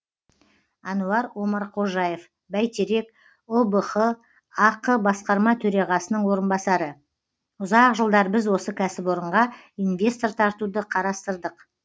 әнуар омарқожаев бәйтерек ұбх ақ басқарма төрағасының орынбасары ұзақ жылдар біз осы кәсіпорынға инвестор тартуды қарастырдық